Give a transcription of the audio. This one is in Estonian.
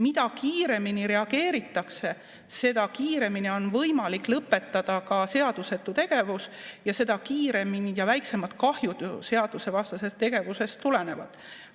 Mida kiiremini reageeritakse, seda kiiremini on võimalik lõpetada ka seadusetu tegevus ja seda väiksemad kahjud seadusvastasest tegevusest tulenevad.